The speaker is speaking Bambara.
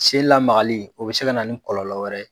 Sen lamagali, o bɛ se kana ni kɔlɔlɔ wɛrɛ ye.